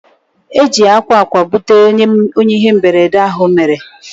Eji akwa akwa butere onye ihe mberede ahụ mere